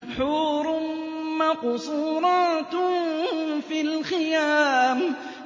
حُورٌ مَّقْصُورَاتٌ فِي الْخِيَامِ